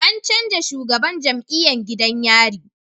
An canja shugaban jam'iyan gidan yari